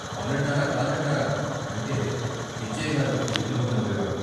అవునంటారా, కాదంటారా అంటే పిచ్చయ్యగారు చిరునవ్వు నవ్వేవాడు.